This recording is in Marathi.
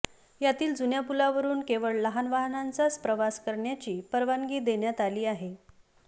यातील जुन्या पुलावरून केवळ लहान वाहनांचा प्रवास करण्याची परवानगी देण्यात आली आहे